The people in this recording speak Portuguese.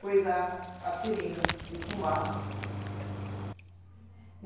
coisar a seringa de fumar.